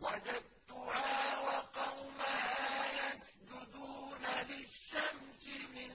وَجَدتُّهَا وَقَوْمَهَا يَسْجُدُونَ لِلشَّمْسِ مِن